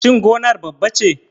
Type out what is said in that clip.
Shin gonar babba ce?